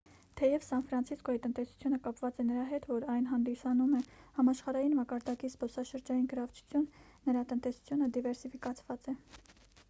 թեև սան ֆրանցիսկոյի տնտեսությունը կապված է նրա հետ որ այն հանդիսանում է համաշխարհային մակարդակի զբոսաշրջային գրավչություն նրա տնտեսությունը դիվերսիֆիկացված է